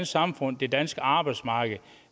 samfund det danske arbejdsmarked og